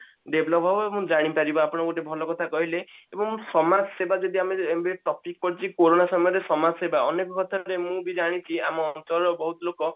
develop ହବ ଏବଂ ଜାଣି ପାରିବା ଆପଣ ଗୋଟେ ଭଲ କଥା କହିଲେ ଏବଂ ସମାଜସେବା ଯଦି ଆମେ ଏବେ topic ପଡିଛି କୋରୋନା ସମୟରେ ସମାଜ ସେବା ଅନେକ କଥା ରେ ମୁଁ ବି ଜାଣିଛି ଆମ ଅଞ୍ଚଳର ବହୁତ ଲୋକ